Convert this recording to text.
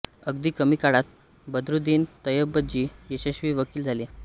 अगदी कमी काळात बद्रुद्दीन तय्यबजी यशस्वी वकील झाले